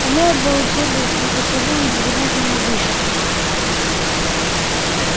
они обладали непостижимым безграничным могуществом